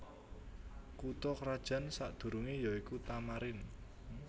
Kutha krajan sakdurungé ya iku Tamarin